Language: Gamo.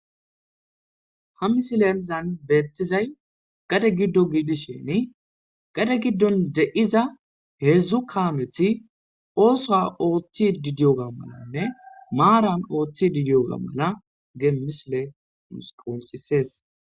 ha misilenzan beettizay gade giddo giidisheni gade giddon de7iza heedzdzu kaamethi oosa ooththi didiyoga malanne maaran ooththi didiyoga mala geemisile mus qoncisees